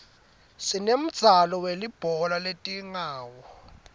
sinemdzalo welibhola letingawo